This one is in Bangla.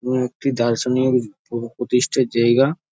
এবং একটি দার্শনিক প্র প্রতিষ্ঠার জায়গা।